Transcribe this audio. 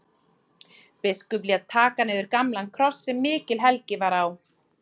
Biskup lét taka niður gamlan kross sem mikil helgi var á.